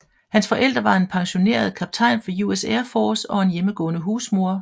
Hans forældre var en pensioneret kaptajn fra US Air Force og en hjemmegående husmor